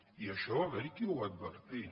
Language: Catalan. i això va haver hi qui ho va advertir